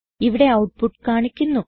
ഇവിടെ ഔട്ട്പുട്ട് കാണിക്കുന്നു